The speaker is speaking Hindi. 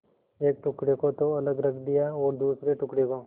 एक टुकड़े को तो अलग रख दिया और दूसरे टुकड़े को